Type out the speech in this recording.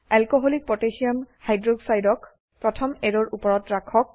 alcoholic potassium hydroxide ক alcকহ প্ৰথম অ্যাৰোৰ উপৰত ৰাখক